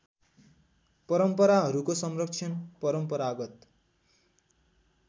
परम्पराहरूको संरक्षण परम्परागत